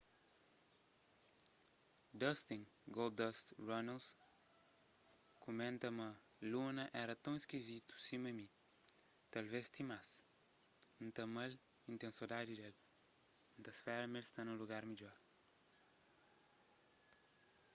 dustin goldust” runnels kumenta ma luna éra ton iskizitu sima mi...talves ti más...n ta ama-l y n ten sodadi d-el...n ta spera ma el sta nun lugar midjor.